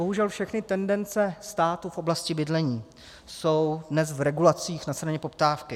Bohužel všechny tendence státu v oblasti bydlení jsou dnes v regulacích na straně poptávky.